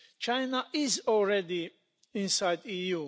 China is already inside the EU.